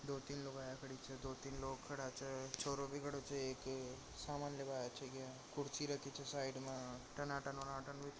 दो तीन लुगाया खड़ी छे दो तीन लोग खड़ा छे छोरो भी खड़ा छे एक सामान लेवा आया छे कुर्सी रखी छे साइड मा टनाटन वनाटन--